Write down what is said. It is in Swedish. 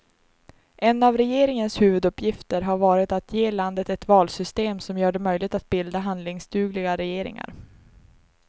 En av regeringens huvuduppgifter har varit att ge landet ett valsystem som gör det möjligt att bilda handlingsdugliga regeringar.